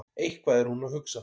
Eitthvað er hún að hugsa.